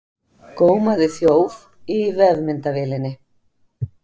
Gómaði þjóf í vefmyndavélinni